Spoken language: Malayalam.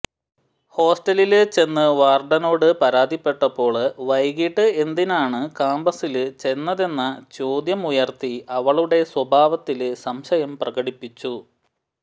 ഹോസ്റ്റലില് ചെന്ന് വാര്ഡനോട് പരാതിപ്പെട്ടപ്പോള് വൈകീട്ട് എന്തിനാണ് കാമ്പസില് ചെന്നതെന്ന ചോദ്യമുയര്ത്തി അവളുടെ സ്വഭാവത്തില് സംശയം പ്രകടിപ്പിച്ചു